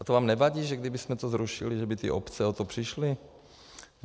A to vám nevadí, že kdybychom to zrušili, že by ty obce o to přišly?